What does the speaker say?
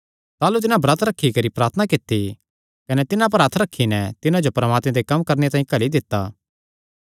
ताह़लू तिन्हां ब्रत रखी करी प्रार्थना कित्ती कने तिन्हां पर हत्थ रखी नैं तिन्हां जो परमात्मे दे कम्म करणे तांई घल्ली दित्ता